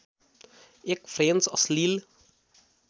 एक फ्रेन्च अश्लिल